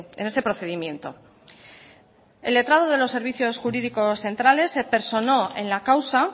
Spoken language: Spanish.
en ese procedimiento el letrado de los servicios jurídicos centrales se personó en la causa